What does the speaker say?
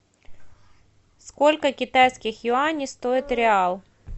сколько китайских юаней стоит реал